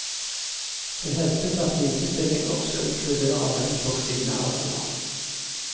Det hevdes at likestilling også inkluderer menn på kvinnearenaer.